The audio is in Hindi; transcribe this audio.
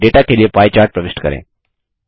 डेटा के लिए पाइ चार्ट प्रविष्ट करें